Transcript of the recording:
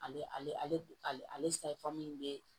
Ale ale ale bɛ